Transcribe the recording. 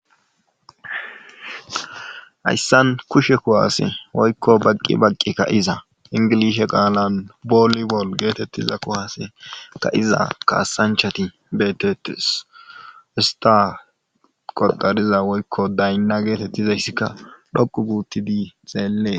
hayssan kushe kuwaase woykko baqqi baqqikka iza ingilishe qaalan booli bol geetettiza kuwaase ka iza kaasanchati beetettes ista qodariza woykko daynna geetettizayssikka dhoqu gi utti dii xeellees